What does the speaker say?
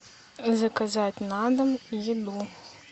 заказать на дом еду